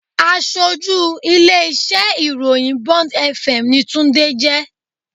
Aṣojú ilé-iṣẹ́ ìròyìn Bond fm ni Tunde jẹ́